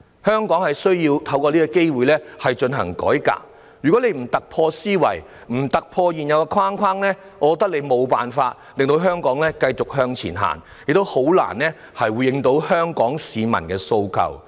香港需要藉這次機會進行改革，如果政府不突破舊有思維，不突破現有的框架，我認為政府將無法令香港繼續向前走，亦難以回應香港市民的訴求。